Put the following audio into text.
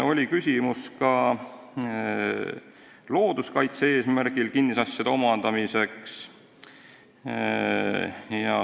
Oli küsimus ka looduskaitse eesmärgil kinnisasjade omandamise kohta.